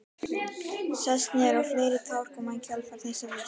Sest niður og fleiri tár koma í kjölfar þess fyrsta.